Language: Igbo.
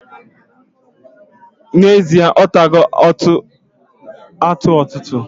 Na ezie, otago atu ututu.